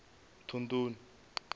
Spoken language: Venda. thondoni